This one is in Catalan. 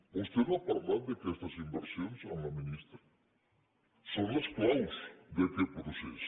vostè no ha parlat d’aquestes inversions amb la ministra són les claus d’aquest procés